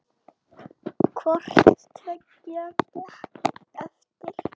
Hvort tveggja gekk eftir.